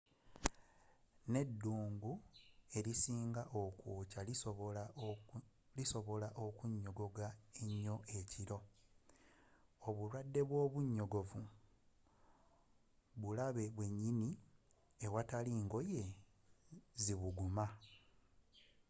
n'eddungu erisinga okwokya lisobola okunnyogoga ennyo ekiro obulwadde bwa obunyogovu bulabe bwennyini awatali ngoye zibuguma